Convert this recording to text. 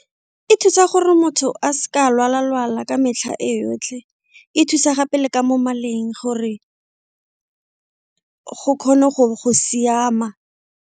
E thusa gore motho a seka a lwala lwala ka metlha e yotlhe, e thusa gape le ka mo maleng gore go kgone go siama.